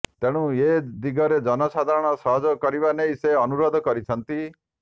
ତେଣୁ ଏ ଦିଗରେ ଜନସାଧାରଣ ସହେଯାଗ କରିବା ନେଇ ସେ ଅନୁରୋଧ କରିଛନ୍ତି